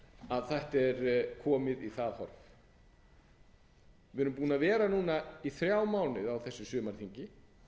þetta er komið í það horf við erum búin að vera í þrjá mánuði á þessu sumarþingi